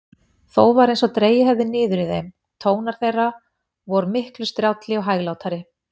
Þó var einsog dregið hefði niður í þeim: tónar þeirra vor miklu strjálli og hæglátari.